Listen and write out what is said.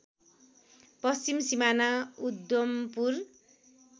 पश्चिम सिमाना उद्धम्पुर